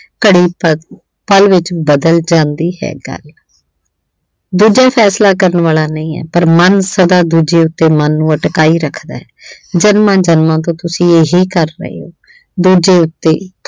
ਘੜੀ ਪ ਅਹ ਪਲ ਵਿੱਚ ਬਦਲ ਜਾਂਦੀ ਹੈ ਗੱਲ ਦੂਜਾ ਫੈਸਲਾ ਕਰਨ ਵਾਲਾ ਨਹੀਂ ਹੈ ਪਰ ਮਨ ਸਦਾ ਦੂਜੇ ਉੱਤੇ ਮਨ ਨੂੰ ਅਟਕਾਈ ਰੱਖਦਾ ਜਨਮਾਂ- ਜਨਮਾਂ ਤੋਂ ਤੁਸੀਂ ਇਹੀ ਕਰ ਰਹੇ ਹੋ। ਦੂਜੇ ਉੱਤੇ